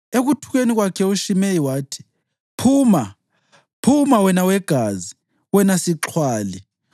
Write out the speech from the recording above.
Ekuthukeni kwakhe uShimeyi wathi, “Phuma, phuma, wena wegazi, wena sixhwali!